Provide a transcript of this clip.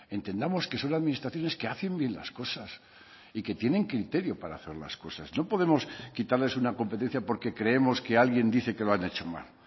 entendamos que son administraciones que hacen bien las cosas y que tienen criterio para hacer las cosas no podemos quitarles una competencia porque creemos que alguien dice que lo han hecho mal